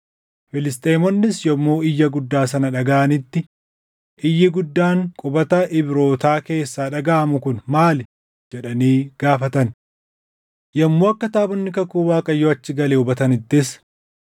Filisxeemonnis yommuu iyya guddaa sana dhagaʼanitti, “Iyyi guddaan qubata Ibrootaa keessaa dhagaʼamu kun maali?” jedhanii gaafatan. Yommuu akka taabonni kakuu Waaqayyoo achi gale hubatanittis,